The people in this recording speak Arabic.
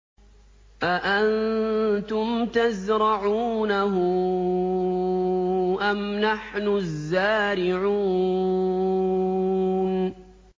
أَأَنتُمْ تَزْرَعُونَهُ أَمْ نَحْنُ الزَّارِعُونَ